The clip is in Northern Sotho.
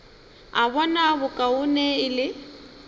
a bona bokaone e le